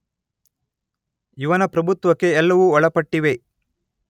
ಇವನ ಪ್ರಭುತ್ವಕ್ಕೆ ಎಲ್ಲವೂ ಒಳಪಟ್ಟಿವೆ.